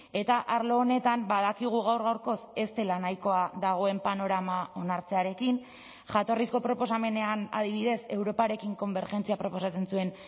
eta arlo honetan badakigu gaur gaurkoz ez dela nahikoa dagoen panorama onartzearekin jatorrizko proposamenean adibidez europarekin konbergentzia proposatzen zuen